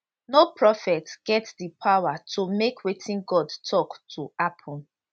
no prophet get di power to make wetin god tok to happun